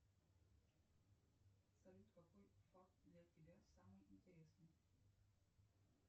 салют какой факт для тебя самый интересный